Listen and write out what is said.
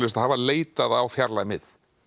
það var leitað á fjarlæg mið